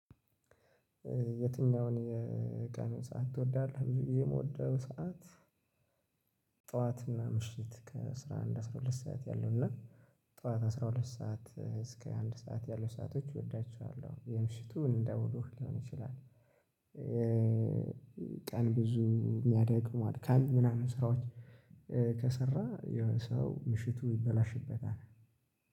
የትኛውን የቀን ሰዓት ትወዳለህ? ብዙ የምወደው ሰዓት ጠዋትና ምሽት ከ አስራ አንድ አስራ ሁለት ሰዓት ያለውና ጠዋት አስራ ሁለት ሰዓት እስከ አንድ ሰዓት ያሉ ሰአቶች እወዳቸዋለሁ። የምሽቱን እንደውሎህ ሊሆን ይችላል። ቀን ብዙ የሚያደክሙ አድካሚ ምናምን ስራዎች ከሰራ የሆነ ሰው ምሽቱ ይበላሽበታል